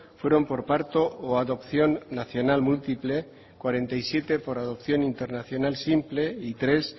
fueron por parto o adopción nacional múltiple cuarenta y siete por adopción internacional simple y tres